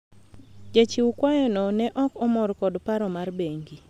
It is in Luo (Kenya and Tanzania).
jachiw kwayo no ne ok omor kod paro mar bengi